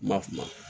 Ma fu